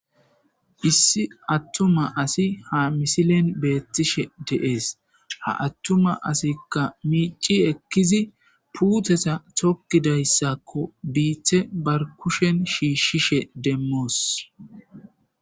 issi attuma asi ha misilen beettishe de7ees ha attuma asikka miici ekkizi puuteta tokkidayssakko biithe barkushen shiishshishe demmoos